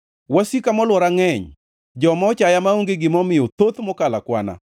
Wasika molwora ngʼeny; joma ochaya maonge gima omiyo thoth mokalo akwana.